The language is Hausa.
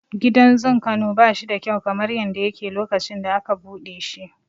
Gidan zun Kano bashi da kyau kamar yadda yake lokacin da aka buɗe shi.